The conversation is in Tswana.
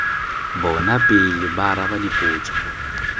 bona pele ba araba dipotso